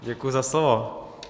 Děkuji za slovo.